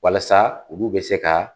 Walasa olu bɛ se ka